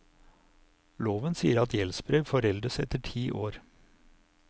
Loven sier at gjeldsbrev foreldes etter ti år.